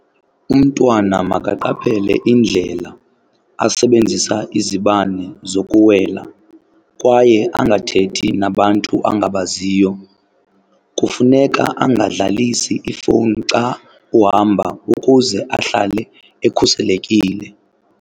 Umntwana makaqaphele indlela asebenzisa izibane zokuwela kwaye angathethi nabantu angabaziyo. Kufuneka angadlalisi ifowuni xa uhamba ukuze ahlale ekhuselekile.